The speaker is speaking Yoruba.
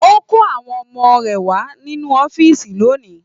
O kò àwọn ọmọ rẹ wà nínú ọ̀fiísí lóni.